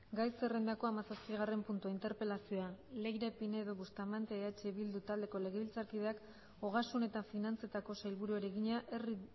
gai zerrendako hamazazpigarren puntua interpelazioa leire pinedo bustamante eh bildu taldeko legebiltzarkideak ogasun eta finantzetako sailburuari egina herri